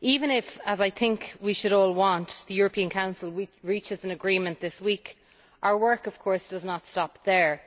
Even if, as I think we should all want, the European Council reaches an agreement this week, our work of course does not stop there.